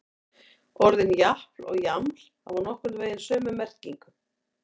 Orðin japl og jaml hafa nokkurn veginn sömu merkingu.